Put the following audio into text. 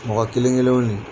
Mɔgɔ kelenkelen ne